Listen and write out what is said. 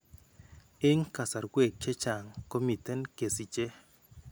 Eng' kasarwek chechang' komiten kesiche .